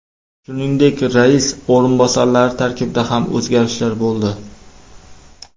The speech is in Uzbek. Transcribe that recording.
Shuningdek, rais o‘rinbosarlari tarkibida ham o‘zgarishlar bo‘ldi.